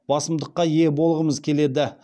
басымдыққа ие болғымыз келеді